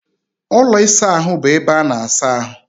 Ụlọ ịsa ahụ bụ ebe ana-asa ahụ.